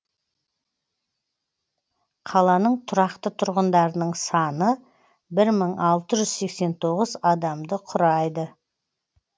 қаланың тұрақты тұрғындарының саны бір мың алты жүз сексен тоғыз адамды құрайды